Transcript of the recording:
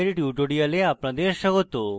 meet the gimp এর tutorial আপনাদের স্বাগত